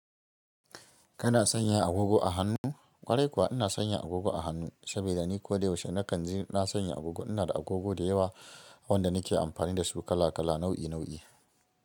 Kana sanya agogo a hannu? Kwarai kuwa ina sanya agogo a hannu, saboda ni ko da yaushe na kanji na sanya agogo. Ina da agogo da yawa wanda nake amfani da su kala kala nau'i nau'i.